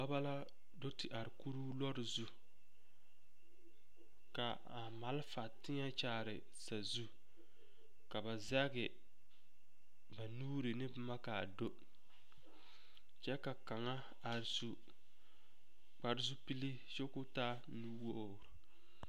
Dɔbɔ la do te are kuruu lɔɔre zu ka a malfa teɛ kyaare sazu ka ba zɛge ba nuuri ne boma ka a do kyɛ ka kaŋa a su kpare zupili kyɛ k'o taa nuwogri.